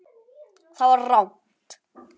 ÞAÐ VAR RANGT.